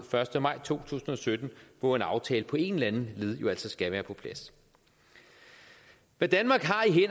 første maj to tusind og sytten hvor en aftale på en eller anden led skal være på plads hvad danmark